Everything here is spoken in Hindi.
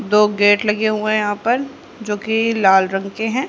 दो गेट लगे हुए हैं यहां पर जो की लाल रंग के है।